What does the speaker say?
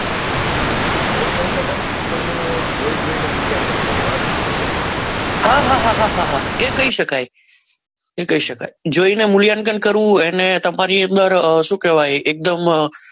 એવું કહી શકાય ને કે કોઈનું જોઈ જોઈને મૂલ્યાંકન કરવું આંખથી મૂલ્યાંકન કરવું હા હા હા કહી શકાય કહી શકાય જોઈને મૂલ્યાંકન કરવું અને ફરી એકવાર શું કહેવાય એકદમ